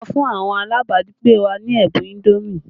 A fún àwọn alabagbe wa ní ẹ̀bùn indomi